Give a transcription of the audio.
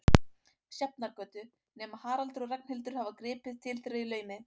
Sjafnargötu, nema Haraldur og Ragnhildur hafi gripið til þeirra í laumi.